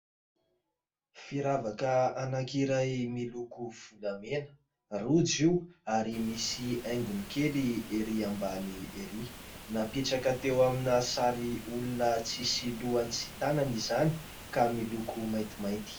Firavaka anankiray miloko volamena, rojo io, ary misy haingony kely erỳ ambany erỳ ; napetraka teo amina sary olona tsy misy lohany sy tanany izany ka miloko maintimainty.